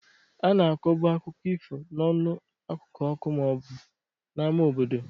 A na-akọbu akụkọ ifo n'ọnụ n'akụkụ ọkụ ma ọ bụ n'ámá obodo.